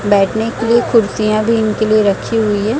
बैठने के लिए कुर्सियां भी इनके लिए रखी हुई है।